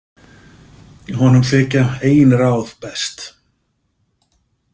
Honum þykja eigin ráð best.